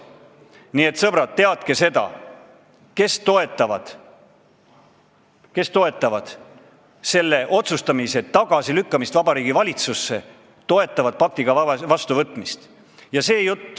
Nii et, sõbrad, teadke seda, et need, kes toetavad selle otsustamise tagasilükkamist Vabariigi Valitsusse, toetavad ka pakti vastuvõtmist.